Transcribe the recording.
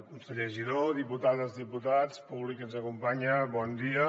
conseller giró diputades diputats públic que ens acompanya bon dia